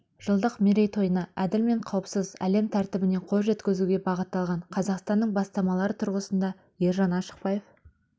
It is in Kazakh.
жылдық мерейтойына әділ мен қауіпсіз әлем тәртібіне қол жеткізуге бағытталған қазақстанның бастамалары тұрғысында ержан ашықбаев